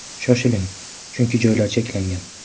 Shoshiling, chunki joylar cheklangan!